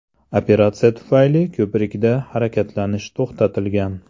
Operatsiya tufayli ko‘prikda harakatlanish to‘xtatilgan.